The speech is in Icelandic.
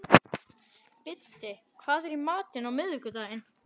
Biddi, hvað er í matinn á miðvikudaginn?